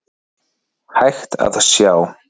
hægt að sjá.